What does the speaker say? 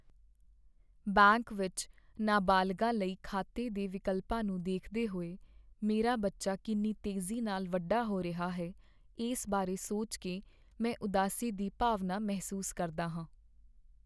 Bank ਵਿੱਚ ਨਾਬਾਲਗਾਂ ਲਈ ਖਾਤੇ ਦੇ ਵਿਕਲਪਾਂ ਨੂੰ ਦੇਖਦੇ ਹੋਏ ਮੇਰਾ ਬੱਚਾ ਕਿੰਨੀ ਤੇਜ਼ੀ ਨਾਲ ਵੱਡਾ ਹੋ ਰਿਹਾ ਹੈ, ਇਸ ਬਾਰੇ ਸੋਚ ਕੇ ਮੈਂ ਉਦਾਸੀ ਦੀ ਭਾਵਨਾ ਮਹਿਸੂਸ ਕਰਦਾ ਹਾਂ।